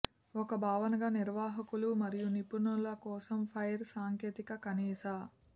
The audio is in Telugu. ఒక భావనగా నిర్వాహకులు మరియు నిపుణుల కోసం ఫైర్ సాంకేతిక కనీస